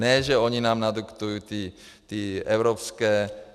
Ne že oni nám nadiktují ty evropské...